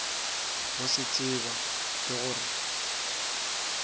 go se tseba ke gore